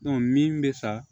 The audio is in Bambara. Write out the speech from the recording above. min bɛ sa